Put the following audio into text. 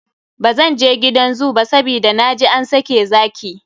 Bzan je gidan zoo ba, sabida na je an sake zaki.